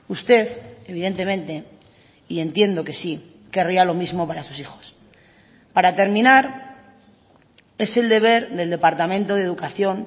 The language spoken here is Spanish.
usted evidentemente y entiendo que sí querría lo mismo para sus hijos para terminar es el deber del departamento de educación